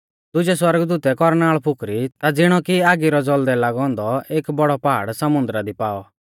दुजै सौरगदूतै कौरनाल़ फुकरी ता ज़िणौ कि आगी रौ ज़ौल़दै लागौ औन्दौ एक बौड़ौ पहाड़ समुन्दरा दी पाऔ और समुन्दरा रौ एक तिहाई हिस्सौ लोऊ हुई गौ